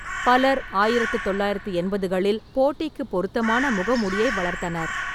பலர் ஆயிரத்து தொள்ளாயிரத்து எண்பதுகளில் போட்டிக்கு பொருத்தமான முக மூடியை வளர்த்தனர்.